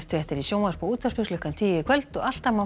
fréttir í sjónvarpi og útvarpi klukkan tíu í kvöld og alltaf má